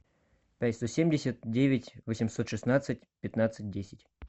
пять сто семьдесят девять восемьсот шестнадцать пятнадцать десять